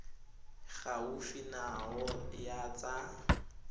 e gaufi nao ya tsa